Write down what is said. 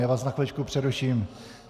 Já vás na chviličku přeruším.